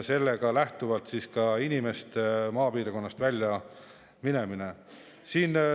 See ka inimeste maapiirkonnast äraminemise.